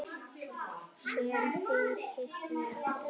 Sem þykist vera góð.